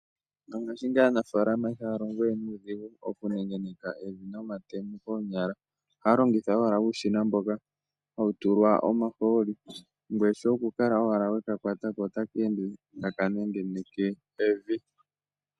Ngashingeyi aanamapya ihaya longo nuudhigu oku nengeneka evi momatemo koonyala. Ohaya longitha ashike uushina mboka hawu tulwa omahooli shoye oku enda ashike weka kwata manga taka nengeneke evi.